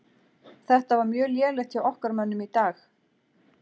Þetta var mjög lélegt hjá okkar mönnum í dag.